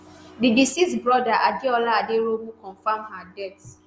di deceased brother adeola aderounmu confam her death.